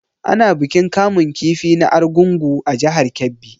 Ana bikin kamun kifi na Argungu a jihar Kebbi.